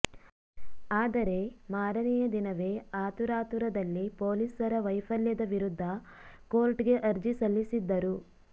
ಆದರೆ ಮಾರನೆಯ ದಿನವೇ ಆತುರಾತುರದಲ್ಲಿ ಪೊಲೀಸರ ವೈಫಲ್ಯದ ವಿರುದ್ಧ ಕೋರ್ಟ್ಗೆ ಅರ್ಜಿ ಸಲ್ಲಿಸಿದ್ದರು